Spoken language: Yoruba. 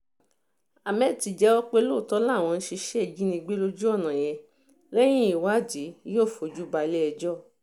hammed ti jẹ́wọ́ pé lóòótọ́ làwọn ń ṣiṣẹ́ ìjínigbé lójú ọ̀nà yẹn lẹ́yìn ìwádìí yóò fojú balẹ̀-ẹjọ́